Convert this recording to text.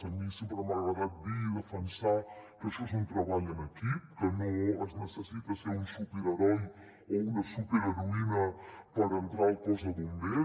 a mi sempre m’ha agradat dir i defensar que això és un tre·ball en equip que no es necessita ser un superheroi o una superheroïna per entrar al cos de bombers